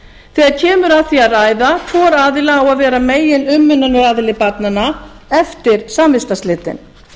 þegar kemur að því að ræða hvor aðilinn á að vera meginumönnunaraðili barnanna eftir samvistarslitin